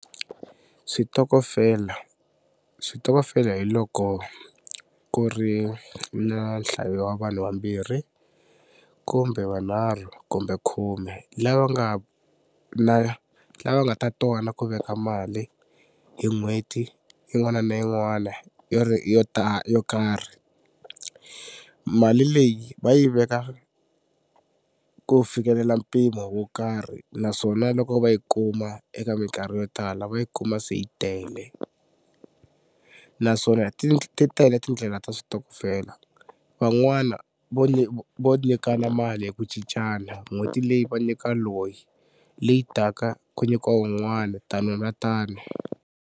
Switokofela switokofela hi loko ku ri na nhlayo wa vanhu vambirhi kumbe vunharhu kumbe khume lava nga na lava nga ta twana ku veka mali hi n'hweti yin'wana na yin'wana yo yo ta yo karhi. Mali leyi va yi veka ku fikelela mpimo wo karhi naswona loko va yi kuma eka mikarhi yo tala va yi kuma se yi tele naswona ti tele tindlela ta switokofela van'wana vo vo nyikana mali hi ku cincana n'hweti leyi va nyika loyi leyi taka ku nyikiwa wun'wana tani na tani.